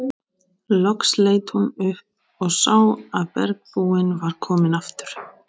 Loks leit hún upp og sá að bergbúinn var kominn aftur.